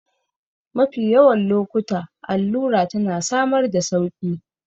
Mafi yawan lokuta allura tana samar da sauƙi